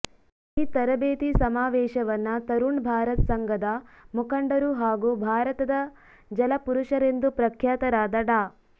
ಈ ತರಬೇತಿ ಸಮಾವೇಶವನ್ನ ತರುಣ್ ಭಾರತ್ ಸಂಘದ ಮುಖಂಡರು ಹಾಗೂ ಭಾರತದ ಜಲ ಪುರುಷರೆಂದು ಪ್ರಖ್ಯಾತರಾದ ಡಾ